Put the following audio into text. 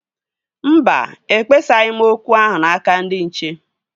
Mba, ekpesaghị m okwu ahụ n'aka ndị nche